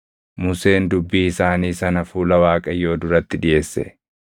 Museen dubbii isaanii sana fuula Waaqayyoo duratti dhiʼeesse;